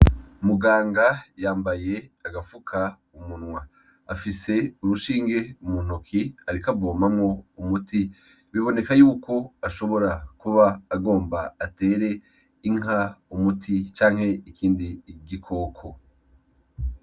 Muganga yambaye agafukamunwa, afise urushinge mu ntoki arik'avomamwo umuti biboneka yuko ashobora kuba agomba atere inka umuti canke ikindi gikoko.